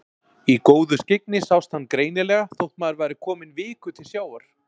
Í góðu skyggni sást hann greinilega þótt maður væri kominn viku til sjávar.